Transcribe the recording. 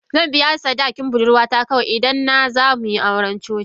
Zan biya sadaki budurwata kawai, idan na za mu yi auren coci.